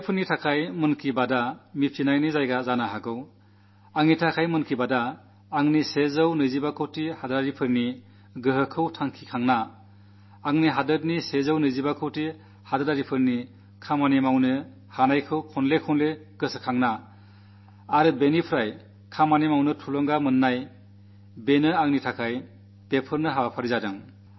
ദേശവാസികൾക്ക് മൻ കീ ബാത് വിവരങ്ങളറിയാനുള്ള അവസരമാകാം എന്നെ സംബന്ധിച്ചിടത്തോളം മൻകീ ബാത് എന്റെ നൂറ്റി ഇരുപത്തിയഞ്ചുകോടി ജനങ്ങളുടെ ശക്തി അനുഭവപ്പെടുന്ന എന്റെ രാജ്യത്തെ നൂറ്റി ഇരുപത്തിയഞ്ചുകോടി ജനങ്ങളുടെ കഴിവിനെ വീണ്ടും വീണ്ടും ഓർക്കുന്ന അതിലൂടെ പ്രവർത്തിക്കാൻ പ്രേരണ ലഭിക്കുവാനുള്ള പരിപാടിയായി